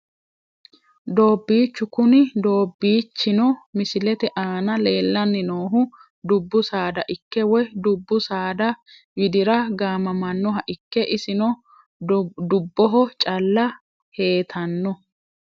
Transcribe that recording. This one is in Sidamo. Doobicho kuni doobichino misilete aana leelani noohu dubbu saada ikke woyi dubbu saada widira gaamamanoha ikke isino dubboho calla heetano.